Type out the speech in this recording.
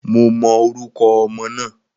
Mo mọ orúkọ ọmọ náà